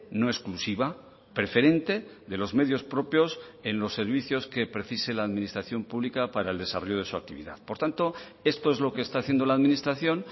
no exclusiva preferente de los medios propios en los servicios que precise la administración pública para el desarrollo de su actividad por tanto esto es lo que está haciendo la administración